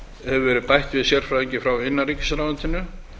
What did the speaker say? hefur verið bætt við sérfræðingi frá innanríkisráðuneytinu